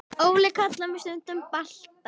Óli kallar mig stundum Balta